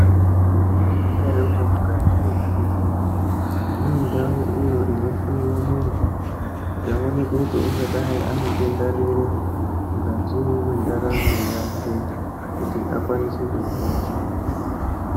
Mwaizviziya ere kuti mukati mezvibhedhleya munendau iyo inohloiwa muntu. Kuti aonekwe kuti ungadai ane denda riri mukati mwendaramo yake kuti akwanise kuhina.